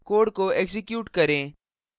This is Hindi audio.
code को एक्जीक्यूट करें